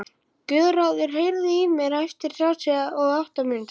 Guðráður, heyrðu í mér eftir þrjátíu og átta mínútur.